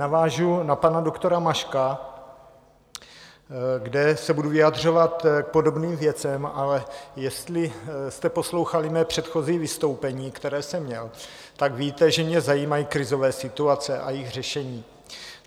Navážu na pana doktora Maška, kde se budu vyjadřovat k podobným věcem, ale jestli jste poslouchali mé předchozí vystoupení, které jsem měl, tak víte, že mě zajímají krizové situace a jejich řešení.